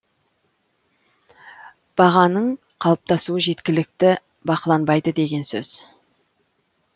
бағаның қалыптасуы жеткілікті бақыланбайды деген сөз